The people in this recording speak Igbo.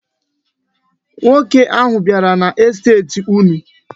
Nwoke ahụ bịara n'estet unu.